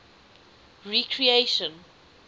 recreation